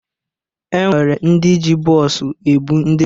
E nwere ndị ji bọs ebụ ndị njem.